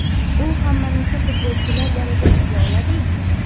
U ham mana shu futbolchilar darajasiga oladimi?